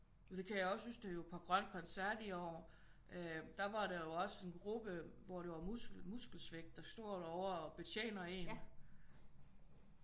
Og det kan jeg også huske da vi var på grøn koncert i år der var der jo også en gruppe hvor det var muskelsvind der står derovre og betjener en